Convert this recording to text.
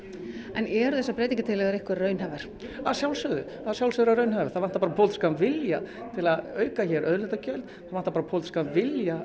en eru þessar breytingartillögur ykkar raunhæfar að sjálfsögðu að sjálfsögðu raunhæfar það vantar bara pólitískan vilja til að auka hér auðlindagjöld það vantar bara pólitískan vilja